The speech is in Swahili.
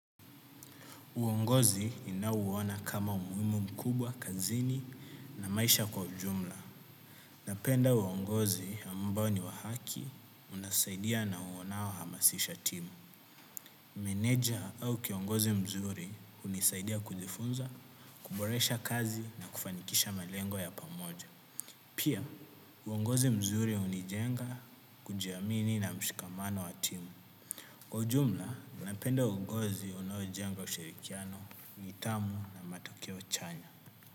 Uongozi inauona kama umuhimu mkubwa, kazini na maisha kwa ujumla. Napenda uongozi ambao ni wa haki, unasaidia na unaohamasisha timu. Manager au kiongozi mzuri hunisaidia kujifunza, kuboresha kazi na kufanikisha malengo ya pamoja. Pia, uongozi mzuri hunijenga kujiamini na mshikamano wa timu. Kwa jumla, napenda uongozi unayojenga ushirikiano, nidhamu na matokeo chanya.